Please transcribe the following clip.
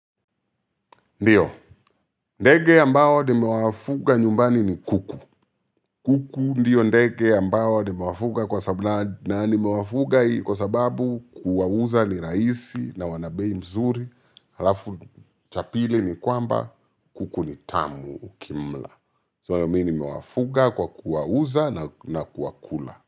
Ndio ndege ambao nimewa fuga nyumbani ni kuku. Kuku ndio ndege ambao nimewa fuga kwa sababu na ni mewafuga kwa sababu kuwauza ni rahisi na wana bei mzuri. Halafu cha pili ni kwamba, kuku ni tamu ukimla. So mi nime wafuga kwa kuwauza na kuwakula.